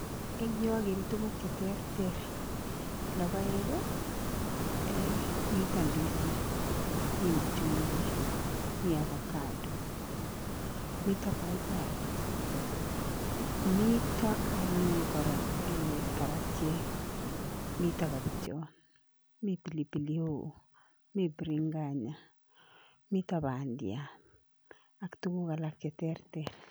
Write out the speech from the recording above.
Ing' yu ageere tuguuk cheterter logoek, mito ndisik, mi machungwek, mi avocado, mito paipai , mito anyun kora karatiek , mito kobichot, mi pilipili hoho, mi biringanya, mito bandiat ak tuguk alak cheterter